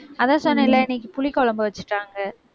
அதான் சொன்னேன்ல, இன்னைக்கு புளிக்குழம்பு வச்சுட்டாங்க.